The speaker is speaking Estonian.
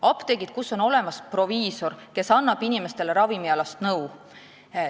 Apteegid, kus on olemas proviisor, kes annab inimestele ravimialast nõu.